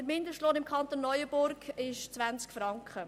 Der Mindestlohn im Kanton Neuenburg beträgt 20 Franken.